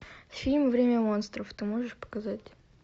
фильм время монстров ты можешь показать